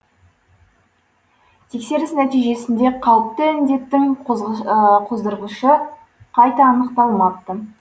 тексеріс нәтижесінде қауіпті індеттің қоздырғышы қайта анықталмапты